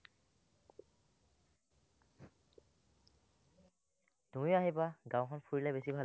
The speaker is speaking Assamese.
তুমি আহিবা, গাঁওখন ফুৰিলে বেছি ভাল